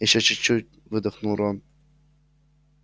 ещё чуть-чуть выдохнул рон